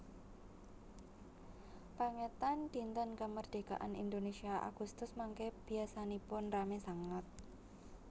Pengetan dinten kemerdekaan Indonesia Agustus mangke biasanipun rame sanget